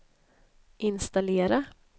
installera